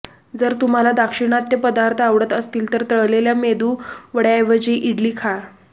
जर तुम्हाला दाक्षिणात्य पदार्थ आवडत असतील तर तळलेल्या मेदुवड्याऐवजी इडली खा